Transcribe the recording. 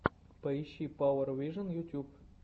поищи пауэр вижен ютюб